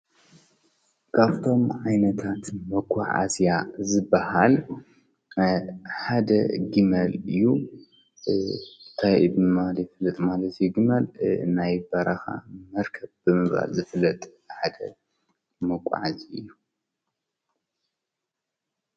ካፍቶም ኣይነታት መኳሕ ዓስያ ዝበሃል ሓደ ጊመል እዩ ታይብማል ፍለጥ ማል ዘይ ግመል ናይ በራኻ መርከብ ብምባል ዘፍለጥ ሓደ መኋዓዚ እዩ።